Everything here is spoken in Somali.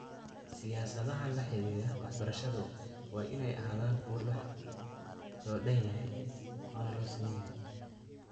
Siyaasadaha laxidhiidha waxbarashadu waa inay ahaadaan kuwo loo dhan yahay oo loo siman yahay.